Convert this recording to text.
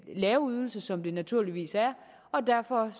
lave ydelse som det naturligvis er og derfor